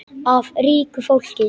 Af ríku fólki?